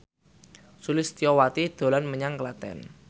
Sulistyowati dolan menyang Klaten